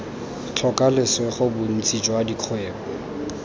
tlhoka lesego bontsi jwa dikgwebo